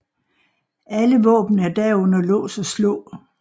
Alle våben er da under lås og slå